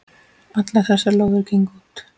Allar þessar lóðir gengu út.